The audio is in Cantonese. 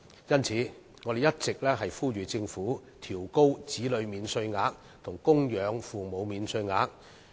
因此，我們一直呼籲政府應調高子女免稅額及供養父母免稅額。